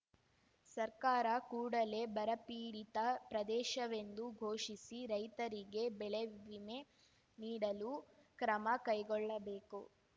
ಸರ್ಕಾರ ಕೂಡಲೇ ಬರಪೀಡಿತ ಪ್ರದೇಶವೆಂದು ಘೋಷಿಸಿ ರೈತರಿಗೆ ಬೆಳೆವಿಮೆ ನೀಡಲು ಕ್ರಮ ಕೈಗೊಳ್ಳಬೇಕು